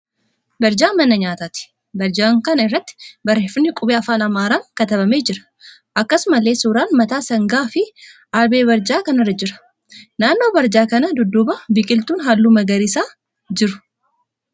Barjaa mana nyaataati. Barjaa kana irratti barreeffamni qubee afaan Amaaraan katabamee jira. Akkasumallee suuraan mataa sangaa fi aalbee barjaa kana irra jira. Naannoo barjaa kana duubaab biqiltuun halluu magariisaa jiru.